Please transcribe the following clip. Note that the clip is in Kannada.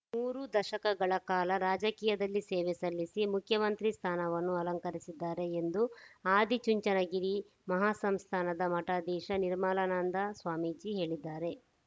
ಮೂರು ದಶಕಗಳ ಕಾಲ ರಾಜಕೀಯದಲ್ಲಿ ಸೇವೆ ಸಲ್ಲಿಸಿ ಮುಖ್ಯಮಂತ್ರಿ ಸ್ಥಾನವನ್ನು ಅಲಂಕರಿಸಿದ್ದಾರೆ ಎಂದು ಆದಿಚುಂಚನಗಿರಿ ಮಹಾಸಂಸ್ಥಾನದ ಮಠಾಧೀಶ ನಿರ್ಮಲಾನಂದ ಸ್ವಾಮೀಜಿ ಹೇಳಿದ್ದಾರೆ